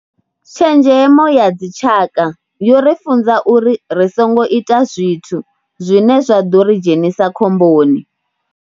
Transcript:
Tshenzhemo ya dzitshaka yo ri funza uri ri songo ita zwithu zwine zwa ḓo ri dzhenisa khomboni.